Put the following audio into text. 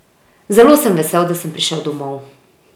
Zelo sem vesel, da sem prišel domov.